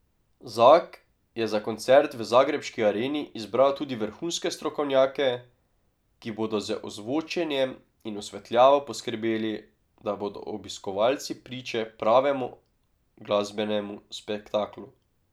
Zak je za koncert v zagrebški Areni izbral tudi vrhunske strokovnjake, ki bodo z ozvočenjem in osvetljavo poskrbeli, da bodo obiskovalci priče pravemu glasbenemu spektaklu.